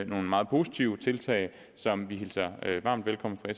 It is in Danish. nogle meget positive tiltag som vi hilser varmt velkommen fra